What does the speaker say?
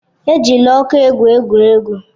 Ejila ọkụ egwu egwuregwu.